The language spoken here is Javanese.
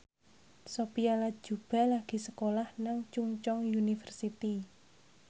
Sophia Latjuba lagi sekolah nang Chungceong University